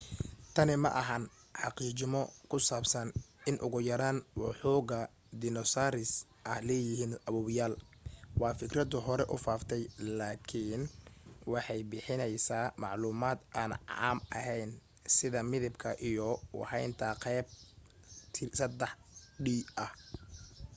tani kaiya maaha xaqiijimo ku saabsan in ugu yaraan woxogaa dinosaaris ah leeyihiin aaboyaal waa fikradu hore u faaftay lakiin waxay bixinaysaa macluumad aan caam ahayn sida midabka iyo u haynta qaab 3d ah